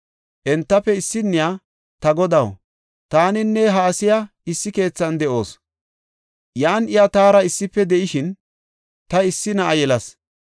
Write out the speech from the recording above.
Entafe issinniya, “Ta godaw, taaninne ha asiya issi keethan de7oos. Yan iya taara issife de7ishin, ta issi na7a yelas.